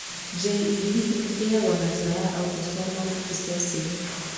JEB ĩigagwo na njĩra ya autosomal recessive.